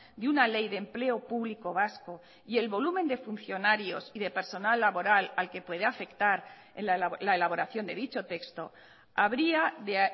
de una ley de empleo público vasco y el volumen de funcionarios y de personal laboral al que puede afectar la elaboración de dicho texto habría de